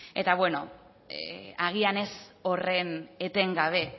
eta beno agian ez horren etengabe